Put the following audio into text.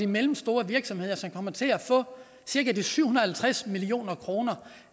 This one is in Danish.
mellemstore virksomheder som kommer til at få de cirka syv hundrede og halvtreds million kroner